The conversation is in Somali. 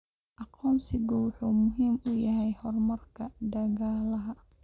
Aqoonsigu wuxuu muhiim u yahay horumarka dhaqaalaha.